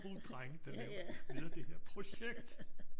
Små drenge der laver leder det her projekt